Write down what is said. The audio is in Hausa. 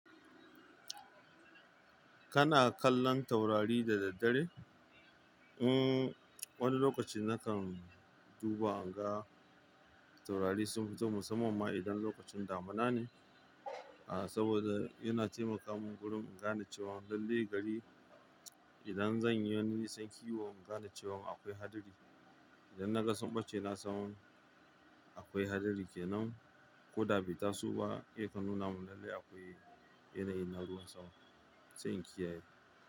Kana kallon taurari da daddare? Wani lokaci nakan duba inga taurari sun fito musamman ma idan lokacin damuna ne. Saboda yana taimaka mun gurin in gane cewan lalle gari, idan zan yi wani nisan kiwo in gane cewan akwai hadari. Idan na ga sun bace na samu akwai hadari kenan. Ko da ba ta su ba, ya kan nuna mun lalle akwai yanayin na ruwa sama, sai in kiyaye.